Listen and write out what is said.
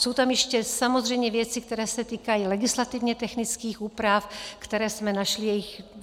Jsou tam ještě samozřejmě věci, které se týkají legislativně technických úprav, které jsme našli.